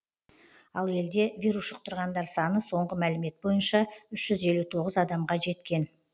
ал елде вирус жұқтырғандар саны соңғы мәлімет бойынша үш жүз елу тоғыз адамға жеткен